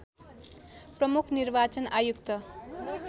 प्रमुख निर्वाचन आयुक्त